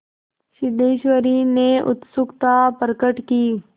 सिद्धेश्वरी ने उत्सुकता प्रकट की